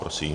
Prosím.